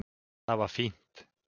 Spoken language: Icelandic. Það var fínt.